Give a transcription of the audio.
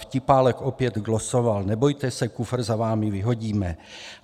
Vtipálek opět glosoval: Nebojte se, kufr za vámi vyhodíme.